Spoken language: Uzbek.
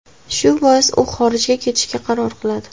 Shu bois, u xorijga ketishga qaror qiladi.